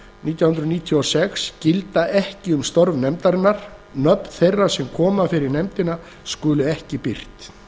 nítján hundruð níutíu og sex gilda ekki um störf nefndarinnar nöfn þeirra sem koma fyrir nefndina skulu ekki birt sjöundu greinar